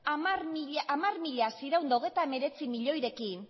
hamar mila seiehun eta hogeita hemeretzi milioirekin